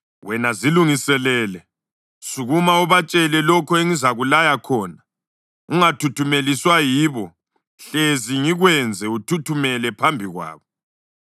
Wena zilungiselele! Sukuma ubatshele lokho engizakulaya khona. Ungathuthumeliswa yibo hlezi ngikwenze uthuthumele phambi kwabo.